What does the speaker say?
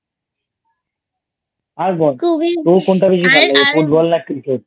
আর বল তোর কোনটা বেশি ভালো লাগে Football না Cricket ?